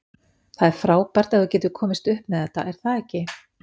Það er frábært ef þú getur komist upp með þetta, er það ekki?